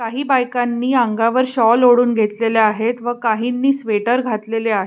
काही बायकांनी अंगावर शॉल ओढून घेतलेल आहेत व काहींनी स्वेटर घातलेले आहे.